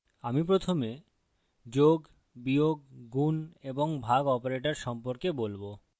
আমি প্রথমে যোগ বিয়োগ গুন এবং ভাগ অপারেটর সম্পর্কে বলবো